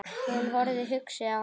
Hún horfði hugsi á hann.